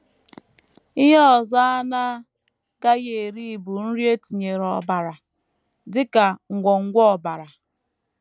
Ihe ọzọ a na -- agaghị eri bụ nri e tinyere ọbara, dị ka ngwọngwọ ọbara.